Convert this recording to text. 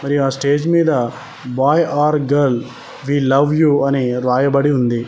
మరి ఆ స్టేజ్ మీద boy or girl we love you అని రాయబడి ఉంది.